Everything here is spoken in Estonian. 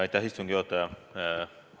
Austatud istungi juhataja!